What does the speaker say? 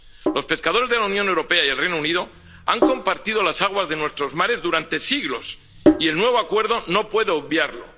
Los pescadores de la Unión Europea y del Reino Unido han compartido las aguas de nuestros mares durante siglos, y el nuevo acuerdo no puedo obviarlo.